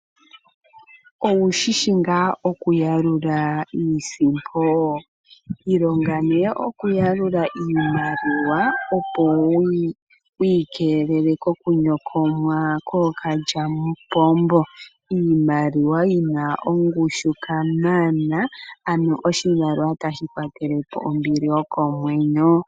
Owu shishi nga oku yalula iisimpo? ilonga ne oku yalula iimaliwa opo wikelele koku nyokomwa ko kalyamupombo ,iimaliwa yina ongushu kamana , aano oshimaliwa tashi kwatelepo ombili yokomwenyo.